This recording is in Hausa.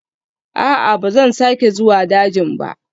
A'a, ba zan sake zuwa dajin ba